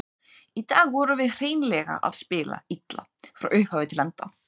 Í dag vorum við hreinlega að spila illa, frá upphafi til enda.